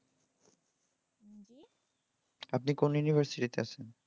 আপনি কোন university তে আছেন?